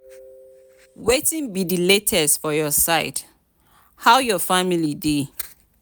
wetin be di latest for your side how your family dey?